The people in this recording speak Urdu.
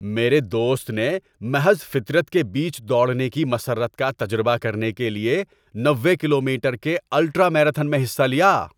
میرے دوست نے محض فطرت کے بیچ دوڑنے کی مسرت کا تجربہ کرنے کے لیے نوے کلومیٹر کے الٹرا میراتھن میں حصہ لیا۔